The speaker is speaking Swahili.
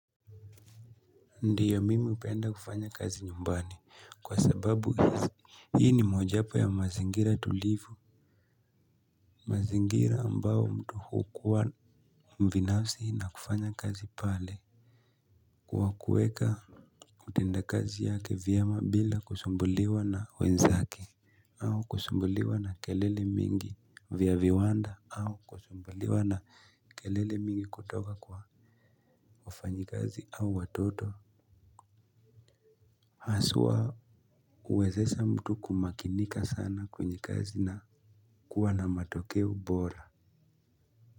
Ndiyo mimi hupenda kufanya kazi nyumbani kwa sababu hizi hii ni mojapo ya mazingira tulivu mazingira ambayo mtu hukuwa mbinafsi na kufanya kazi pale kuwa kueka utenda kazi yake vyema bila kusumbuliwa na wenzake au kusumbuliwa na kelele mingi vya viwanda au kusumbuliwa na kelele mingi kutoka kwa wafanyi kazi au watoto haswa. Uwezesha mtu kumakinika sana kwenye kazi na kuwa na matokeo bora.